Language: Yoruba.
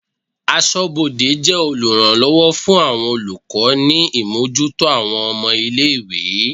Aṣọ́bodè jẹ́ oluranlowo fún àwọn olùkọ́ ni imojuto àwọn ọmọ-ilé-ìwé.